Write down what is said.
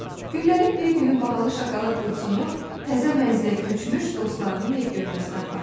Günlərin bir günü bahalı şokolad qutusunu təzə mənzilə köçmüş dostlarının ev görməsinə apardılar.